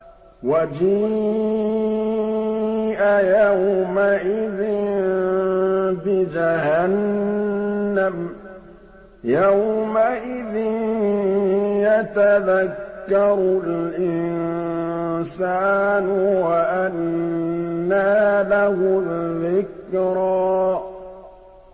وَجِيءَ يَوْمَئِذٍ بِجَهَنَّمَ ۚ يَوْمَئِذٍ يَتَذَكَّرُ الْإِنسَانُ وَأَنَّىٰ لَهُ الذِّكْرَىٰ